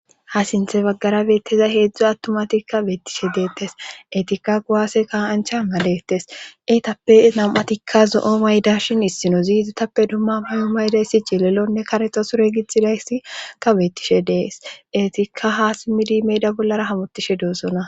ha sinthe baggara beetteza heedzdzo attumatikka beettishe deettes etikka kuaawase ka'ancha malettes eetappe nam'atikka zo'o maydashin issino ziizatappe dumma muyu maydayssi jilelonne karexa sure gitxidayssikka beettishe d'es eetikka haa simmidi meyda bollara hamotishe doosona